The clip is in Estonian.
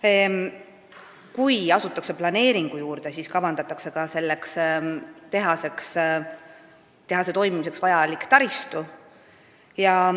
Veel otsustati, kui asutakse planeeringu kallale, siis kavandatakse ka tehase jaoks vajalik taristu.